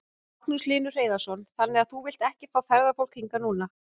Magnús Hlynur Hreiðarsson: Þannig að þú vilt ekki fá ferðafólk hingað núna?